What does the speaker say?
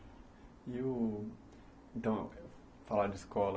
E o... Então, falar de escola.